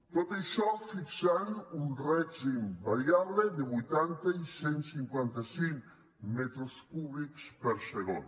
tot això fixant un règim variable de vuitanta i cent i cinquanta cinc metres cúbics per segon